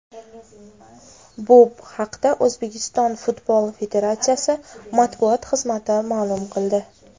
Bu haqda O‘zbekiston futbol federatsiyasi matbuot xizmati ma’lum qildi .